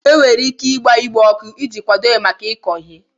E nwere ike ịgba ugbo ọkụ iji kwado ya maka iko ihe.